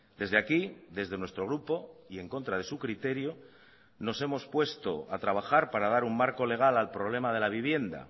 desde aquí desde nuestro grupo y en contra de su criterio nos hemos puesto a trabajar para dar un marco legal al problema de la vivienda